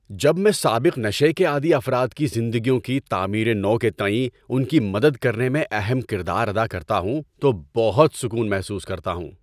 جب میں سابق نشے کے عادی افراد کی زندگیوں کی تعمیر نو کے تئیں ان کی مدد کرنے میں اہم کردار ادا کرتا ہوں تو بہت سکون محسوس کرتا ہوں۔